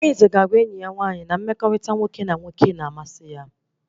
Arinze ga-agwa enyi nwaanyị ya na mmekọrịta nwoke na nwoke na-amasị ya